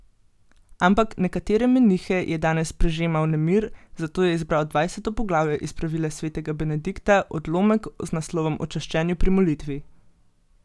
Ampak nekatere menihe je danes prežemal nemir, zato je izbral dvajseto poglavje iz Pravila svetega Benedikta, odlomek z naslovom O čaščenju pri molitvi.